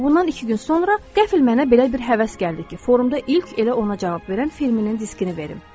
Bundan iki gün sonra qəfil mənə belə bir həvəs gəldi ki, forumda ilk elə ona cavab verən filminin diskini verim.